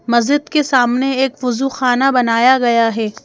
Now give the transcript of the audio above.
मस्जिद के सामने एक बुजुखाना बनाया गया है।